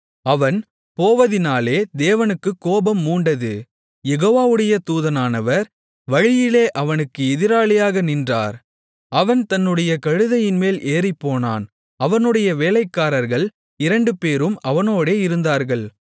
அவன் போவதினாலே தேவனுக்குக் கோபம் மூண்டது யெகோவாவுடைய தூதனானவர் வழியிலே அவனுக்கு எதிராளியாக நின்றார் அவன் தன்னுடைய கழுதையின்மேல் ஏறிப்போனான் அவனுடைய வேலைக்காரர்கள் இரண்டுபேரும் அவனோடே இருந்தார்கள்